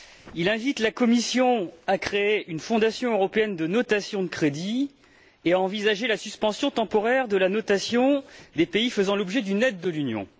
Il invite la Commission à créer une Fondation européenne de notation de crédit et à envisager la suspension temporaire de la notation des pays faisant l'objet d'une aide de l'Union.